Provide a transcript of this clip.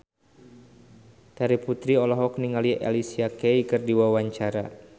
Terry Putri olohok ningali Alicia Keys keur diwawancara